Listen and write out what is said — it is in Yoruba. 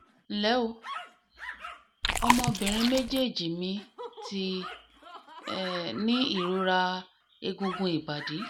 nle o ọmọbìnrin mejeeji mi ti um ní ìrora egungun ibadi